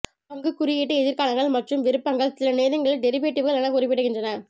பங்கு குறியீட்டு எதிர்காலங்கள் மற்றும் விருப்பங்கள் சில நேரங்களில் டெரிவேடிவ்கள் என குறிப்பிடப்படுகின்றன